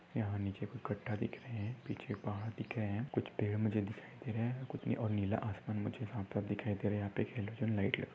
यहा निचे कुछ खड्डा दिख रहे है पिछे पहाड़ दिख रहे है कुछ पेड़ मुझे दिखाई दे रहे है कुछ और कुछ नीला आसमान मुझे साफ-साफ दिखाई दे रहा है यहा पे हेलोजन लाइट लगी--